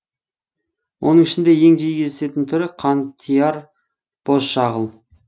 оның ішінде ең жиі кездесетін түрі қантияр бозшағыл